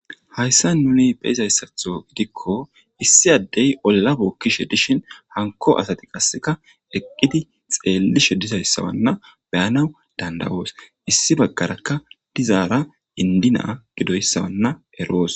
Hayssa nuni beizayssatho gidikko issi addey olla bookkishe dishin hanko asati qasseka eqqidi xeellishe disayssawanna beyana dandawoos issi baggarakka dizaara indinaa gidoyssawanna eroos